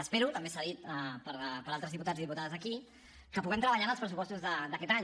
espero també s’ha dit per altres diputats i diputades aquí que puguem treballar en els pressupostos d’aquest any